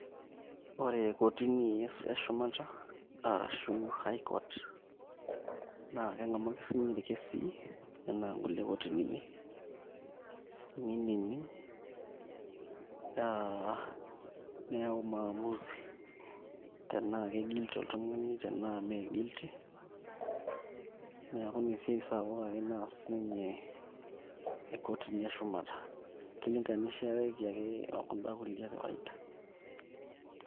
Ore kotini e shumata arashu high court naa keng'amu ake sininye irkesii enaa kulie kotinini, nining' aa neyau maamuzi tenaa keguilty oltung'ani tenaa mee guilty neeku ina esiai ake sapuk naas siinyekotini eshumata, kilinganishieki ake o kunda kulie e kawaida.